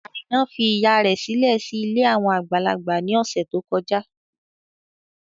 Àìná fi ìyá rẹ̀ sílẹ̀ sí ilé àwọn àgbàlagbà ní ọ̀sẹ̀ tó kọjá.